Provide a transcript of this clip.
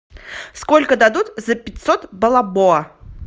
сколько дадут за пятьсот бальбоа